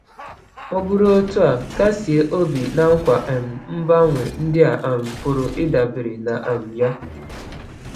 Ọ bụrụ otu a, kasie obi na nkwa um mgbanwe ndị a um pụrụ ịdabere na um ya.